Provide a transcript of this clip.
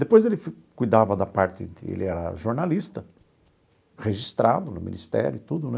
Depois ele cuidava da parte de, ele era jornalista, registrado no Ministério e tudo, né?